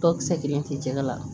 Tɔkisɛ kelen tɛ jɛgɛ la